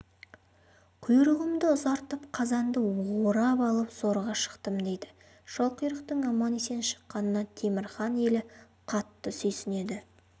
құйрығымды ұзартып қазанды орап алып зорға шықтым дейді шалқұйрықтың аман-есен шыққанына темір хан елі қатты сүйсінеді